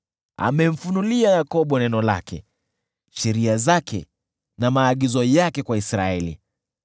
Amemfunulia Yakobo neno lake, sheria zake na maagizo yake kwa Israeli.